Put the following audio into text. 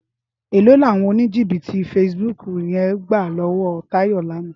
Éló ni áwòn ónijíbìtí fésibúk yèn gbá lòwò Tayo làná?